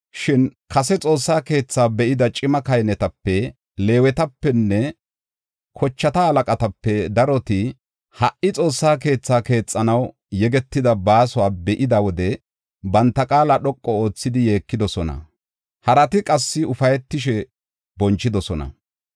Shin kase Xoossaa keetha be7ida cima kahinetape, Leewetapenne kochata halaqatape daroti ha77i Xoossa keetha keexanaw yegetida baasuwa be7ida wode banta qaala dhoqu oothidi yeekidosona; harati qassi ufaytishe bonchidosona.